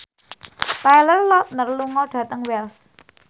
Taylor Lautner lunga dhateng Wells